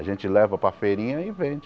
A gente leva para a feirinha e vende.